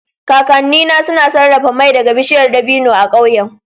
Kakannina suna sarrafa mai daga bishiyar dabino a ƙauyen